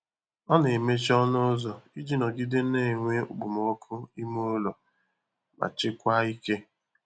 Ọ na-emechi ọnụ ụzọ iji nọgide na-enwe okpomọkụ ime ụlọ ma chekwaa ike.